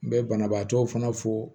N bɛ banabaatɔw fana fo